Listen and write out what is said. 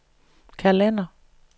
kalender